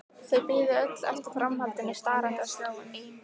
Þau biðu öll eftir framhaldinu starandi á skjáinn.